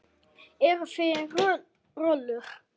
Eruð þið rollur?